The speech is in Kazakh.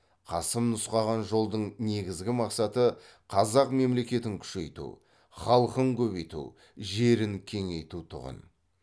қасым нұсқаған жолдың негізгі мақсаты қазақ мемлекетін күшейту халқын көбейту жерін кеңейту тұғын